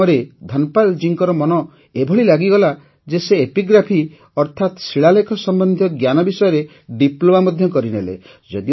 ଏହି କାମରେ ଧନ୍ପାଲ୍ ଜୀଙ୍କର ମନ ଏଭଳି ଲାଗିଗଲା ଯେ ସେ ଏପିଗ୍ରାଫି ଅର୍ଥାତ୍ ଶିଳାଲେଖ ସମ୍ବନ୍ଧୀୟ ଜ୍ଞାନ ବିଷୟରେ ଡିପ୍ଲୋମା ମଧ୍ୟ କରିନେଲେ